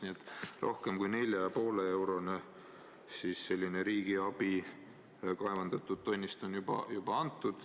Nii et umbes 4,5-eurone riigiabi kaevandatud tonni kohta on juba antud.